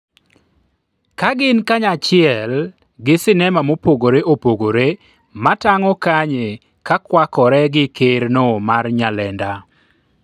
ka gin kanyachiel gi sinema mopogore opogore matang'o Kanye kakwakore gi ker no mar Nyalenda